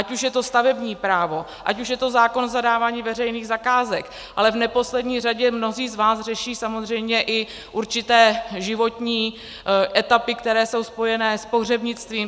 Ať už je to stavební právo, ať už je to zákon o zadávání veřejných zakázek, ale v neposlední řadě mnozí z vás řeší samozřejmě i určité životní etapy, které jsou spojené s pohřebnictvím.